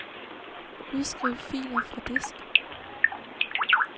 Udskriv filer fra disk.